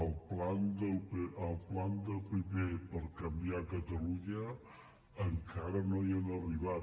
al pla del pp per canviar catalunya encara no hi han arribat